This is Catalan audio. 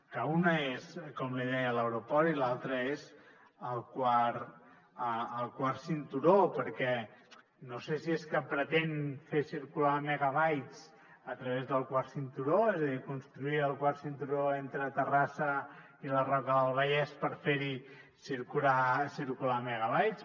que una és com li deia l’aeroport i l’altra és el quart cinturó perquè no sé si és que pretén fer circular megabytes a través del quart cinturó és a dir construir el quart cinturó entre terrassa i la roca del vallès per fer hi circular megabytes